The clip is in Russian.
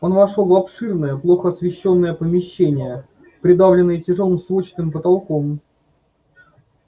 он вошёл в обширное плохо освещённое помещение придавленное тяжёлым сводчатым потолком